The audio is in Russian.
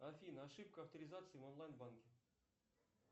афина ошибка авторизации в онлайн банке